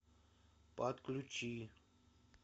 подключи